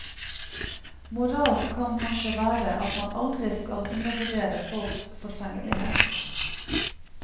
Moralen kan kanskje være at man aldri skal undervurdere folks forfengelighet.